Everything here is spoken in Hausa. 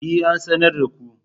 E, an sanar ko.